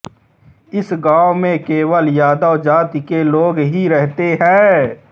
इस गाँव में केवल यादव जाति के लोग ही रहते हैं